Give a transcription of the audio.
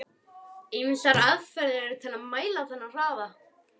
Ýmsar aðferðir eru til að mæla þennan hraða.